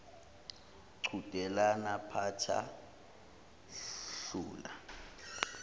qhudelana phatha hlula